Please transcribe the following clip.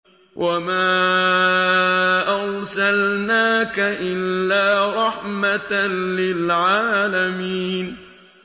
وَمَا أَرْسَلْنَاكَ إِلَّا رَحْمَةً لِّلْعَالَمِينَ